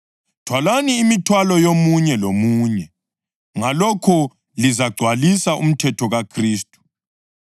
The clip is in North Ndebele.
Thwalani imithwalo yomunye lomunye, ngalokho lizagcwalisa umthetho kaKhristu.